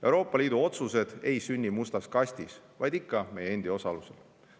Euroopa Liidu otsused ei sünni mustas kastis, vaid ikka meie endi osalusel.